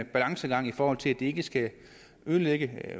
balancegang i forhold til at det ikke skal ødelægge